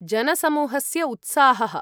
जनसमूहस्य उत्साहः!